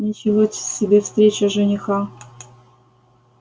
ничего себе встреча жениха